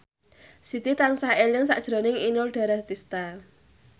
Siti tansah eling sakjroning Inul Daratista